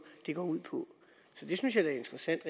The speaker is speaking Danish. går ud på så det synes jeg da er interessant